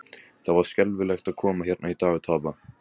Það var skelfilegt að koma hérna í dag og tapa.